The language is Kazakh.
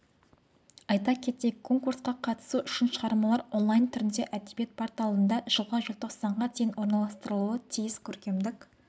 айта кетейік конкурсқа қатысу үшін шығармалар онлайн түрінде әдебиет порталында жылғы желтоқсанға дейін орналастырылуы тиіс көркемдік